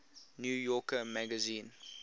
new yorker magazine